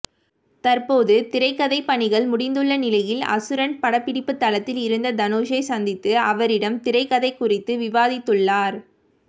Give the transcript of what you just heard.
தற்போது திரைக்கதை பணிகள் முடிந்துள்ள நிலையில் அசுரன் படப்பிடிப்புத் தளத்தில் இருந்த தனுஷை சந்தித்து அவரிடம் திரைக்கதை குறித்து விவாதித்துள்ளார்